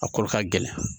A kolo ka gɛlɛn